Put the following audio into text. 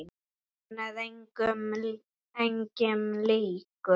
Hann var engum líkur.